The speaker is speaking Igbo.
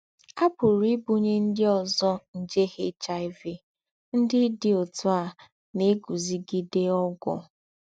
À pùrù ìbùnyé ndí́ ózọ́ njè HIV ndí́ dí ótú à nà-ègúzígidé ógwù.